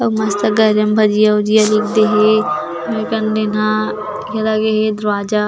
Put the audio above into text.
मस्त गरम भजिया उजिया लिख दे हे मेक अन दीन्हा यहाँ लगे हे दरवाजा --